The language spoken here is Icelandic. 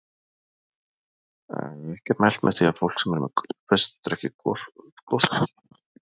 Ekki er mælt með því að fólk sem er með gubbupest drekki gosdrykki.